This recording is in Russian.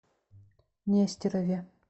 нестерове